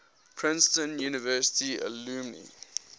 princeton university alumni